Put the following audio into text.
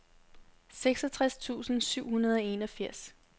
seksogtres tusind syv hundrede og enogfirs